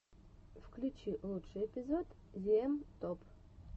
включи лучший эпизод зиэм топ